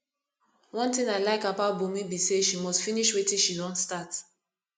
one thing i like about bunmi be say she must finish wetin she don start